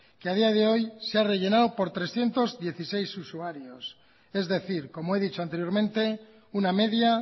que a día de hoy se ha rellenado por trescientos dieciséis usuarios es decir como he dicho anteriormente una media